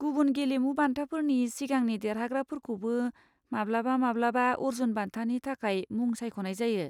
गुबुन गेलेमु बान्थाफोरनि सिगांनि देरहाग्राफोरखौबो माब्लाबा माब्लाबा अर्जुन बान्थानि थाखाय मुं सायख'नाय जायो।